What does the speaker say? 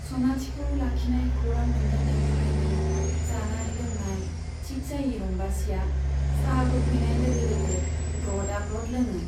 सनाथिखौ लाखिनाय खौरां मोनजेननायनिफ्रायनो जानाय लोंनाय थिख जायै रम्बसीया चाहा होफैनाय लोगो लोगो ग्रदआ ग्रद लोङो।